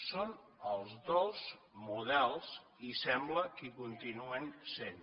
són els dos models i sembla que hi continuen sent